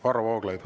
Varro Vooglaid.